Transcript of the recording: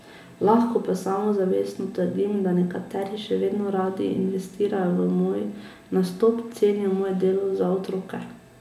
Lahko pa samozavestno trdim, da nekateri še vedno radi investirajo v moj nastop, cenijo moje delo za otroke.